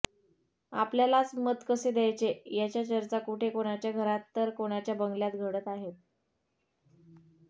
आपल्यालाच मत कसे द्यायचे याच्या चर्चा कुठे कोणाच्या घरात तर कोणाच्या बंगल्यात घडत आहेत